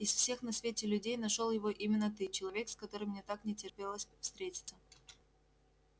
из всех на свете людей нашёл его именно ты человек с которым мне так не терпелось встретиться